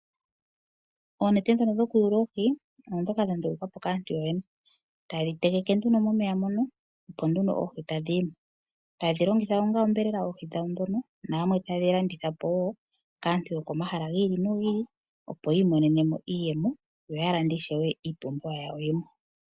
Oonete dhoka dhoku yuula oohi odho dhoka dha ndulukwapo kaantu yoyene. Tayedhi tendeke nduno momeya mono opo nduno oohi tadhi yimo, tayedhi longitha onga onyama yoohi dhono nayamwe tayedhi landitha po woo kaantu yokomahala giili nogiili opo yiimonenemo iiyemo yo ya lande ishewe iipumbiwa yimwe.